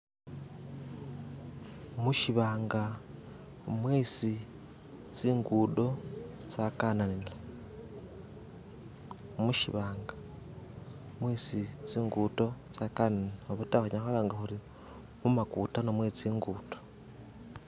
Mushibanga mwesi tsingudo tsakananila mushibanga mwesi tsingudo tsakananila obata khunyala khwalanga khuri mumakutano mwe tsingudo.